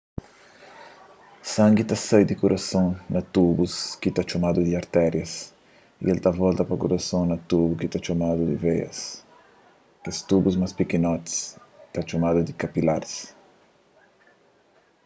sangi ta sai di kurason na tubus ki ta txomadu artérias y el ta volta pa kurason na tubu ki ta txomadu veias kes tubu más pikinoti é ta txomadu kapilaris